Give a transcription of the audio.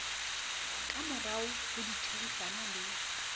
ka morao ho ditherisano le